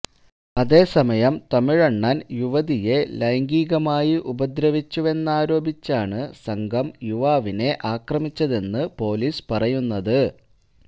അതേസമയം തമിഴ്വണ്ണന് യുവതിയെ ലൈംഗികമായി ഉപദ്രവിച്ചുവെന്നാരോപിച്ചാണ് സംഘം യുവാവിനെ അക്രമിച്ചതെന്ന് പോലീസ് പറയുന്നത്